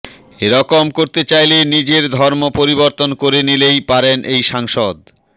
এরকম করতে চাইলে নিজের ধর্ম পরিবর্তন করে নিলেই পারেন এই সাংসদ